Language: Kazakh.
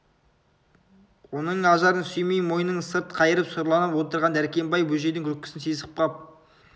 оның ажарын сүймей мойнын сырт қайырып сұрланып отырған дәркембай бөжейдің күлкісін сезіп қап